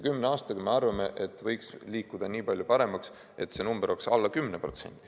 Kümne aastaga, me arvame, võiks liikuda nii palju paremaks, et see number oleks alla 10%.